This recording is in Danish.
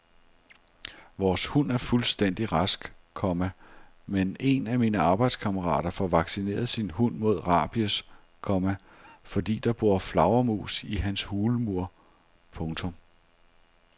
Vores hund er fuldstændig rask, komma men en af mine arbejdskammerater får vaccineret sin hund mod rabies, komma fordi der bor flagermus i hans hulmur. punktum